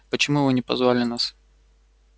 почему вы не позвали нас